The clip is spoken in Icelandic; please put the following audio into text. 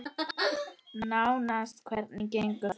Nánast Hvernig gengur það?